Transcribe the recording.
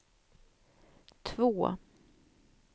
två